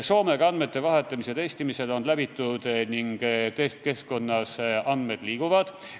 Soomega andmete vahetamise testimine on läbitud ning testkeskkonnas andmed liiguvad.